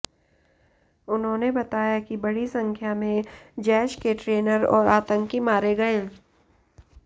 उन्होंने बताया कि बड़ी संख्या में जैश के ट्रेनर और आतंकी मारे गए